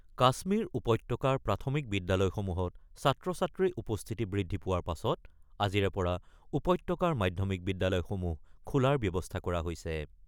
কাশ্মীৰ উপত্যকাৰ প্ৰাথমিক বিদ্যালয়সমূহত ছাত্ৰ-ছাত্ৰীৰ উপস্থিতি বৃদ্ধি পোৱাৰ পাছত আজিৰে পৰা উপত্যকাৰ মাধ্যমিক বিদ্যালয়সমূহ খোলাৰ ব্যৱস্থা কৰা হৈছে।